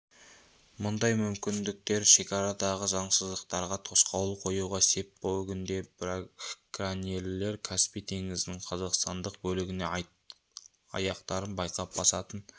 мұндай мүмкіндіктер шекарадағы заңсыздықтарға тосқауыл қоюға сеп бүгінде браконьерлер каспий теңізінің қазақстандық бөлігіне аяқтарын байқап басатын